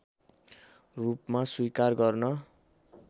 रूपमा स्वीकार गर्न